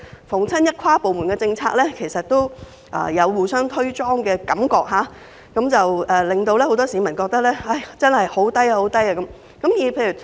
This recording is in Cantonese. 凡有跨部門政策，相關部門都有互相"推莊"的感覺，以致很多市民覺得政府效率極低。